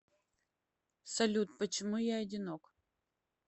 салют почему я одинок